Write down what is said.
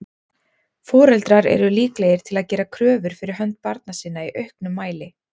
Foreldrar eru líklegir til að gera kröfur fyrir hönd barna sinna í auknum mæli.